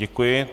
Děkuji.